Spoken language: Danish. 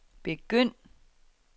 begynd